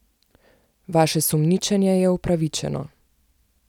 Vaše sumničenje je upravičeno.